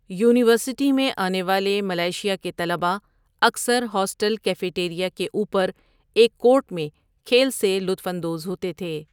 University میں آنے والے ملائیشیا کے طلباء اکثر ہاسٹل کیفے ٹیریا کے اوپر ایک کورٹ میں کھیل سے لطف اندوز ہوتے تھے۔